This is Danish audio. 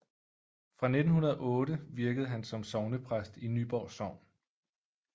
Fra 1908 virkede han som sognepræst i Nyborg Sogn